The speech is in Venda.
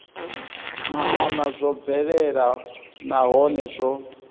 maana zwo bvelela nahone zwo